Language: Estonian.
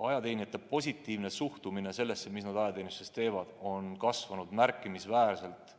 Ajateenijate positiivne suhtumine sellesse, mis nad ajateenistuses teevad, on kasvanud märkimisväärselt